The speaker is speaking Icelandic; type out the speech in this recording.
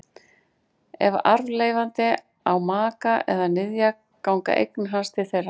Ef arfleifandi á maka eða niðja ganga eignir hans til þeirra.